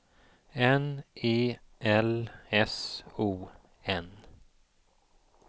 N E L S O N